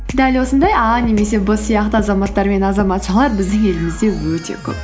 дәл осындай а немесе б сияқты азаматтар мен азаматшалар біздің елімізде өте көп